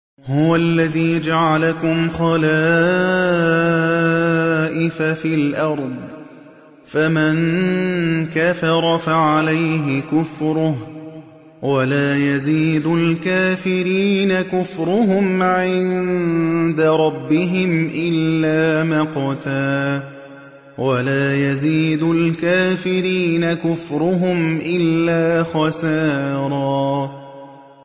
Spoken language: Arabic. هُوَ الَّذِي جَعَلَكُمْ خَلَائِفَ فِي الْأَرْضِ ۚ فَمَن كَفَرَ فَعَلَيْهِ كُفْرُهُ ۖ وَلَا يَزِيدُ الْكَافِرِينَ كُفْرُهُمْ عِندَ رَبِّهِمْ إِلَّا مَقْتًا ۖ وَلَا يَزِيدُ الْكَافِرِينَ كُفْرُهُمْ إِلَّا خَسَارًا